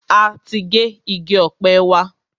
A ti gé igi ọ̀pẹ wa.